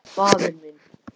Faðir minn.